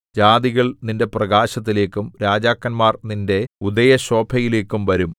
ജാതികൾ നിന്റെ പ്രകാശത്തിലേക്കും രാജാക്കന്മാർ നിന്റെ ഉദയശോഭയിലേക്കും വരും